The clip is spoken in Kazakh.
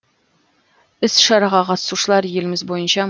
іс шараға қатысушылар еліміз бойынша